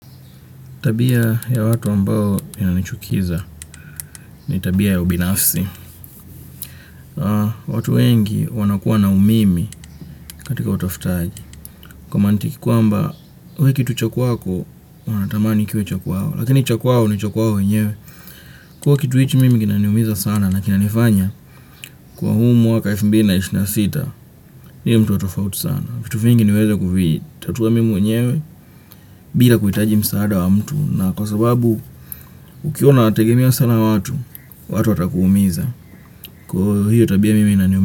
Tabia ya watu ambao inanichukiza ni tabia ya ubinafsi. Watu wengi wanakuwa na umimi katika utafutaji. Kwa mantiki kwamba wewe kitu cha kwako wanatamani kiwe cha kwao. Lakini cha kwao ni cha kwao wenyewe. Kuwa kitu hichi mimi kinaniumiza sana na kinanifanya kuwa huu mwaka elfu mbili na ishirini na sita niwe mtu wa tofauti sana. Vitu vingi nimeweza kuvitatua mimi mwenyewe bila kuhitaji msaada wa mtu. Na kwa sababu ukiwa unawategemia sana watu, watu watakuumiza.